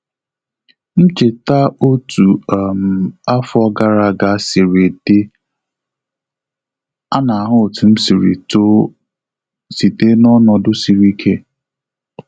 M cheta otu um afọ gara aga sịrị di a na ahu otu m sịrị too site n'ọnọdụ sịrị ike